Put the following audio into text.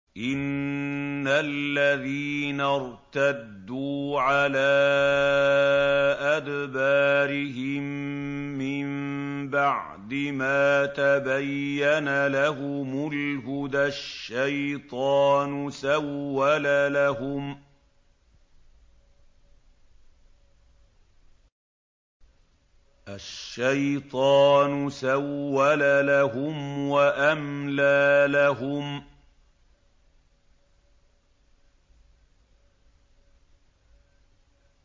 إِنَّ الَّذِينَ ارْتَدُّوا عَلَىٰ أَدْبَارِهِم مِّن بَعْدِ مَا تَبَيَّنَ لَهُمُ الْهُدَى ۙ الشَّيْطَانُ سَوَّلَ لَهُمْ وَأَمْلَىٰ لَهُمْ